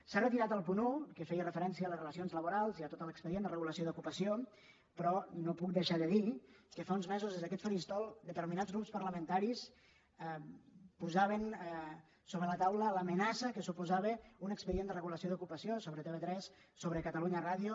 s’ha retirat el punt un que feia referència a les relacions laborals i a tot l’expedient de regulació d’ocupació però no puc deixar de dir que fa uns mesos des d’aquest faristol determinats grups parlamentaris posaven sobre la taula l’amenaça que suposava un expedient de regulació d’ocupació sobre tv3 sobre catalunya ràdio